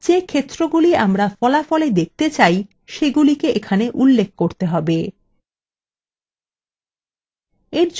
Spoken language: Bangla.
যে ক্ষেত্রগুলি আমরা ফলাফলwe দেখতে চাই সেগুলি এখানে উল্লেখ করতে হবে